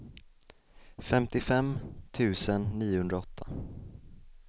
femtiofem tusen niohundraåtta